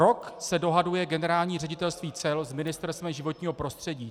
Rok se dohaduje Generální ředitelství cel s Ministerstvem životního prostředí.